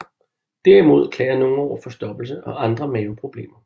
Derimod klager nogen over forstoppelse og andre maveproblemer